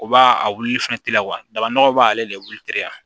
O b'a a wulili fɛnɛ teliya daba nɔgɔ b'ale de wuli teliya